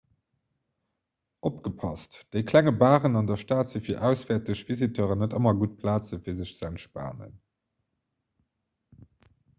opgepasst déi klenge baren an der stad si fir auswäerteg visiteuren net ëmmer gutt plaze fir sech ze entspanen